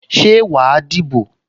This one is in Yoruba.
Ṣé wà á dìbò?